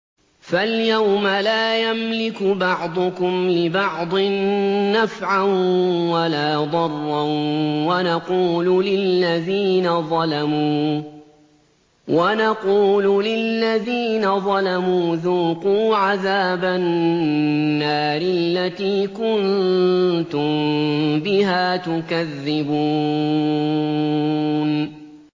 فَالْيَوْمَ لَا يَمْلِكُ بَعْضُكُمْ لِبَعْضٍ نَّفْعًا وَلَا ضَرًّا وَنَقُولُ لِلَّذِينَ ظَلَمُوا ذُوقُوا عَذَابَ النَّارِ الَّتِي كُنتُم بِهَا تُكَذِّبُونَ